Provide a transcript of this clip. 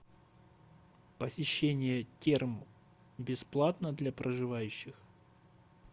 посещение терм бесплатно для проживающих